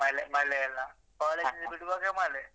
ಮಳೆ ಮಳೆಯೆಲ್ಲ ಕಾಲೇಜು ಬಿಡುವಾಗ ಮಳೆ.